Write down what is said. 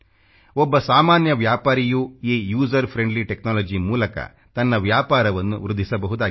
ಒಬ್ಬ ಸಾಮಾನ್ಯ ವ್ಯಾಪಾರಿಯೂ ಈ ಯುಸರ್ ಫ್ರೆಂಡ್ಲಿ ಟೆಕ್ನಾಲಜಿ ಮೂಲಕ ತನ್ನ ವ್ಯಾಪಾರವನ್ನು ವೃದ್ಧಿಸಬಹುದಾಗಿದೆ